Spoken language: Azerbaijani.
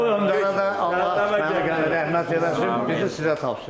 O öndərədə Allah rəhmət eləsin, bizi sizə tapşırıb.